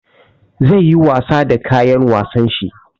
Zai yi wasa da kayan wasan shi.